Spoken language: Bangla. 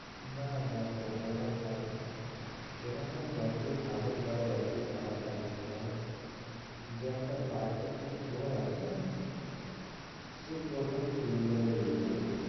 না দেখো ওরম হয় না এলাকা যতই ভালো, বা যতই খারাপ থাকুক না কেনো, যে একটা perfect যে চোর আছে না, সে কোথাও চুরি করে বেরিয়ে যাবে।